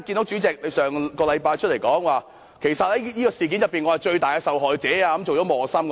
主席上星期公開表示自己是這件事的最大受害者，而且成為磨心。